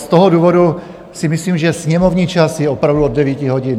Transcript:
Z toho důvodu si myslím, že sněmovní čas je opravdu od 9 hodin.